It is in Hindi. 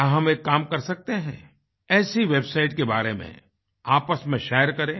क्या हम एक काम कर सकते हैं ऐसी वेबसाइट के बारे में आपस में शेयर करें